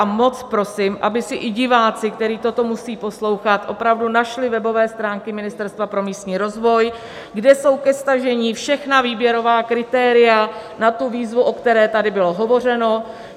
A moc prosím, aby si i diváci, kteří toto musí poslouchat, opravdu našli webové stránky Ministerstva pro místní rozvoj, kde jsou ke stažení všechna výběrová kritéria na tu výzvu, o které tady bylo hovořeno.